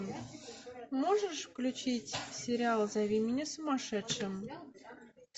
можешь включить сериал зови меня сумасшедшим